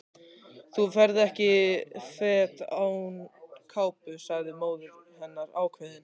Þú ferð ekki fet án kápu sagði móðir hennar ákveðin.